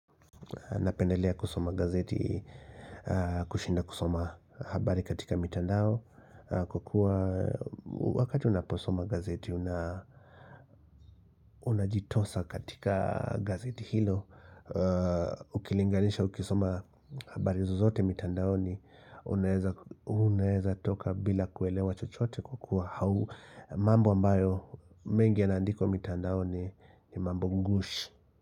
Napendelea kusoma gazeti kushinda kusoma habari katika mitandao kwa kua wakati unaposoma gazeti unajitosa katika gazeti hilo ukilinganisha ukisoma habari zozote mitandaoni unaeza toka bila kuelewa chochote kwa kua hau mambo ambayo mengi yaandikwa mitandao ni mambo ngush.